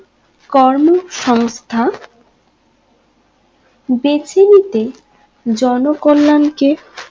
কর্ম সমস্থা বেছে নিতে জন কল্যাণ কে